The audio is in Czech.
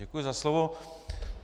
Děkuji za slovo.